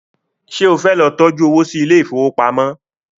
ṣe o fẹ ló tọjú owo sí Ilé ìfowópamọ́?